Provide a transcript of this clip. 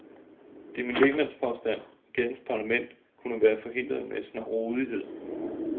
Det er min lægmandspåstand, at gadens parlament kunne have været forhindret med snarrådighed.